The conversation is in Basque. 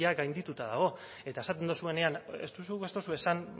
gaindituta dago eta esaten duzuenean ez duzu ez duzu esan